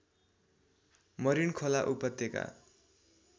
मरिनखोला उपत्यका